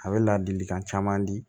A bɛ ladilikan caman di